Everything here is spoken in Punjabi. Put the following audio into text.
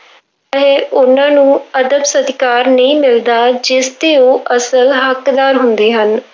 ਹੈ, ਉਹਨਾਂ ਨੂੰ ਅਦਬ ਸਤਿਕਾਰ ਨਹੀਂ ਮਿਲਦਾ, ਜਿਸਦੇ ਉਹ ਅਸਲ ਹੱਕਦਾਰ ਹੁੰਦੇ ਹਨ।